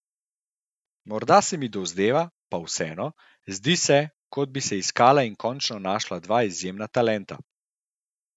Morda se mi dozdeva, pa vseeno, zdi se, kot bi se iskala in končno našla dva izjemna talenta.